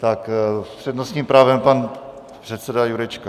S přednostním právem pan předseda Jurečka.